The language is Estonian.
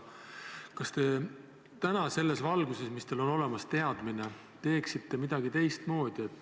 Kas te tänaste teadmiste valguses, mis teil on olemas, teeksite midagi teistmoodi?